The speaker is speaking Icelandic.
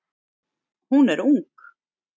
Hún er ung.